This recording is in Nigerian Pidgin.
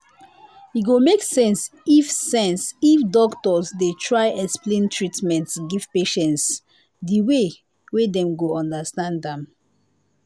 e go make sense if sense if doctors dey try explain treatment give patients the way wey dem go understand am